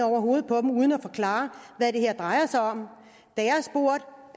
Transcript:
over hovedet på dem uden at forklare hvad det her drejer sig om